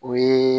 O ye